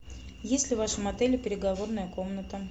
есть ли в вашем отеле переговорная комната